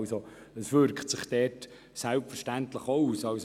Diese wirkt sich dort selbstverständlich auch aus.